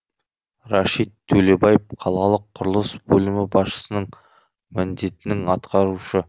рәшит төлебаев қалалық құрылыс бөлімі басшысының міндетінің атқарушы